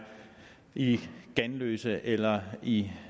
i ganløse eller i